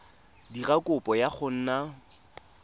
dira kopo ya go nna